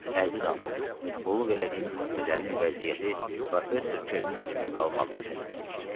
Əziz ana, qulluq elədiyim xəstələrin vəziyyəti professor Kernin evində qalmağımı tələb edir.